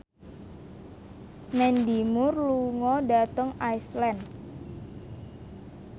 Mandy Moore lunga dhateng Iceland